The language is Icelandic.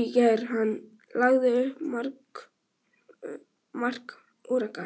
í gær en hann lagði upp mark Úrúgvæ.